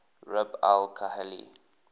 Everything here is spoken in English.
rub al khali